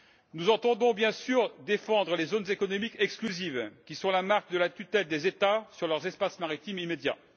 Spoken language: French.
Nous entendons, bien sûr, défendre les zones économiques exclusives, qui sont la marque de la tutelle des États sur leurs espaces maritimes immédiats.